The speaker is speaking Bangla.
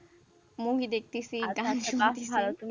Movie দেখতেছি, গান শুনতেছি,